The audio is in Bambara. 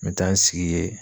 N bɛ taa n sigi yen.